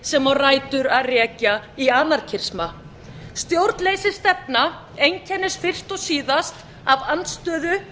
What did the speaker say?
sem á rætur að rekja í anarkisma stjórnleysisstefna einkennist fyrst og síðast af andstöðu